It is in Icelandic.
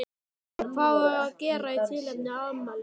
En hvað á að gera í tilefni afmælisins?